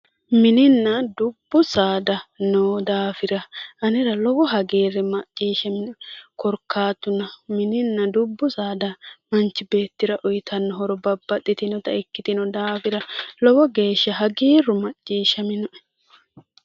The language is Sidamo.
Mininna dubbu saada noo daafira anera lowo hagiirri macciishshishshaminoe. Korkaatuno mininna dubbu saada manchi beettira uyitanno horo babbaxxitinota ikkitino daafira lowo geeshsha hagiirru macciishshishshaminoe.